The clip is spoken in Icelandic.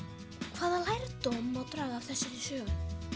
hvaða lærdóm má draga af þessari sögu